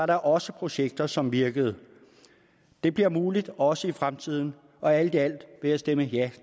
der også projekter som virker det bliver muligt også i fremtiden og alt i alt vil jeg stemme ja